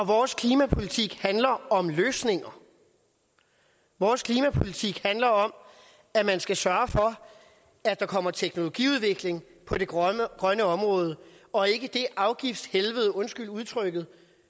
vores klimapolitik handler om løsninger vores klimapolitik handler om at man skal sørge for at der kommer teknologiudvikling på det grønne grønne område og ikke det afgiftshelvede undskyld udtrykket